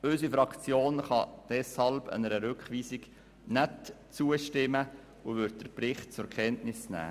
Unsere Fraktion kann deshalb einer Rückweisung nicht zustimmen und sie wird den Bericht zur Kenntnis nehmen.